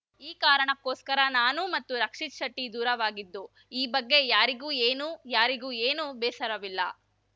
ಈ ಕಾರಣಕ್ಕೋಸ್ಕರ ನಾನು ಮತ್ತು ರಕ್ಷಿತ್‌ ಶೆಟ್ಟಿದೂರವಾಗಿದ್ದು ಈ ಬಗ್ಗೆ ಯಾರಿಗೂ ಏನೂ ಯಾರಿಗೂ ಏನೂ ಬೇಸರವಿಲ್ಲ